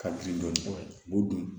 Ka girin dɔɔnin o dun